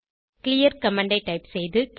clear command ஐ type செய்து